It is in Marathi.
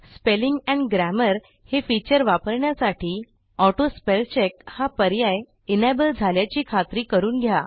स्पेलिंग एंड Grammarहे फीचर वापरण्यासाठी AutoSpellCheckहा पर्याय एनेबल झाल्याची खात्री करून घ्या